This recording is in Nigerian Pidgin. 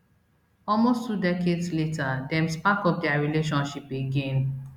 almost two decades later dem spark up dia relationship again